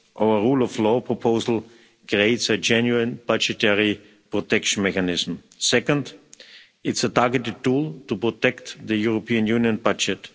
Our rule of law proposal creates a genuine budgetary protection mechanism. Second, it's a targeted tool to protect the European Union budget.